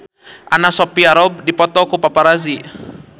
Anna Sophia Robb dipoto ku paparazi